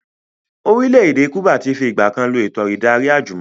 Orílẹ̀ èdè Kúbà tí fi ìgbàkan lọ eto ìdarí àjùmọ̀lo